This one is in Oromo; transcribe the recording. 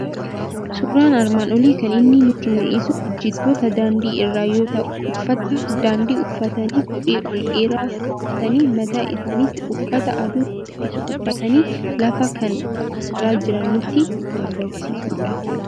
Suuraan armaan olii kan inni nutti mul'isu hojjettoota daandii irraa yoo ta'u, uffata daandii uffatanii kophee ol dheeraa kaawwatanii, mataa isaaniitti uffata aduu ittisu uffatanii lafa kan qoffora jiran nutti argisiisudha.